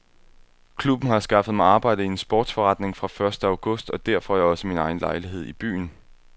Klubben har skaffet mig arbejde i en sportsforretning fra første august og der får jeg også min egen lejlighed i byen.